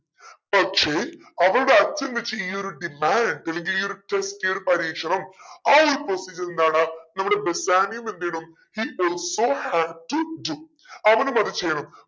പക്ഷെ അവളുടെ അച്ഛൻ വെച്ച ഈ ഒരു demand അല്ലെങ്കിൽ ഈ ഒരു test ഈ ഒരു പരീക്ഷണം ആ ഒരു procedure എന്താണ് നമ്മുടെ ബേസാനിയോം എന്തെയ്യണം he also have to do അവനും അത് ചെയ്യണം